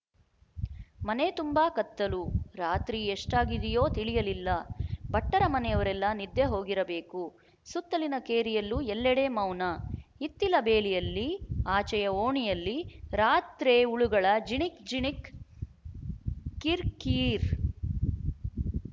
ಮನೆ ತುಂಬ ಕತ್ತಲು ರಾತ್ರಿ ಎಷ್ಟಾಗಿದೆಯೋ ತಿಳಿಯಲಿಲ್ಲ ಭಟ್ಟರ ಮನೆಯವರೆಲ್ಲ ನಿದ್ದೆ ಹೋಗಿರಬೇಕು ಸುತ್ತಲಿನ ಕೇರಿಯಲ್ಲೂ ಎಲ್ಲೆಡೆ ಮೌನ ಹಿತ್ತಿಲ ಬೇಲಿಯಲ್ಲಿ ಆಚೆಯ ಓಣಿಯಲ್ಲಿ ರಾತ್ರೆ ಹುಳುಗಳ ಜಿಣಿಕ್ ಜಿಣಿಕ್ ಕಿರ್‍ಕೀೀರ್